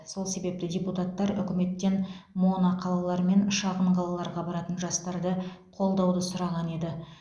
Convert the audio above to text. сол себепті депутаттар үкіметтен моноқалалар мен шағын қалаларға баратын жастарды қолдауды сұраған еді